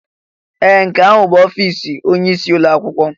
Ee! Nke ahụ bụ ọfịs onyeisi ụlọ akwụkwọ.